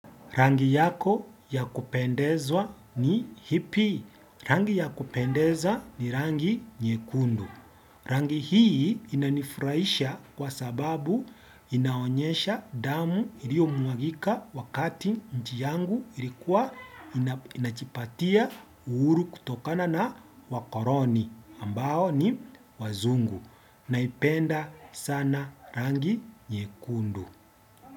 Rangi yako ya kupendezwa ni hipi. Rangi ya kupendeza ni rangi nyekundu. Rangi hii inanifurahisha kwa sababu inaonyesha damu iliomwagika wakati nchi yangu ilikuwa inajipatia uhuru kutokana na wakoroni ambao ni wazungu. Naipenda sana rangi nyekundu.